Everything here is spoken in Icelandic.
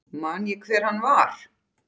Man ég hver hann var?